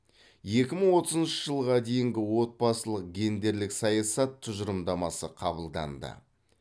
екі мың отызыншы жылға дейінгі отбасылық гендерлік саясат тұжырымдамасы қабылданды